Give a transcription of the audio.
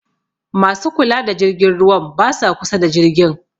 Ma su kula da jirgin ruwan ba sa kusa da jirgin.